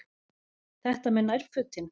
Þetta með nærfötin.